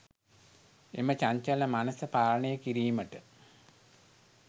එම චංචල මනැස පාලනය කිරීමට